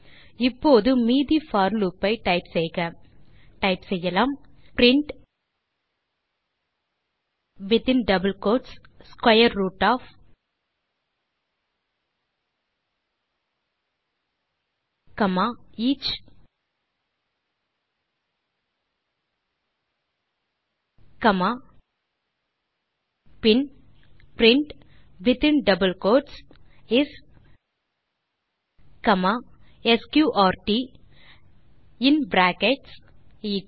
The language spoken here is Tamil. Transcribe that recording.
இப்போது மீதி போர் லூப் ஐ டைப் செய்க டைப் செய்யலாம் print within double quotes square root of each பின் print within double quotes is comma sqrt in brackets each